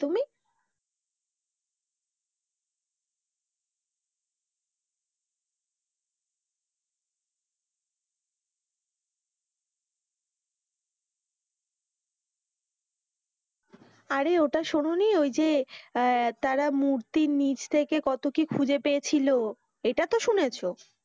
আরে ওটা শুনো নি ওই যে আহ তারা মূর্তির নিচ্ থেকে কত কি খুঁজে পেয়েছিলো, এটা তো শুনেছ,